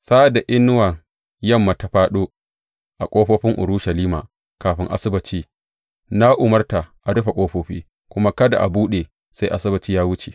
Sa’ad da inuwar yamma ya fāɗo a ƙofofin Urushalima kafin Asabbaci, na umarta a rufe ƙofofi kuma kada a buɗe sai Asabbaci ya wuce.